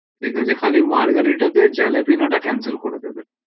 ঠিক আছে খালি margherita তে jalapeno cancel করে দেবে